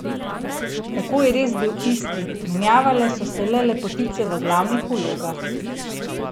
Tako je res bil isti, menjale so se le lepotice v glavnih vlogah.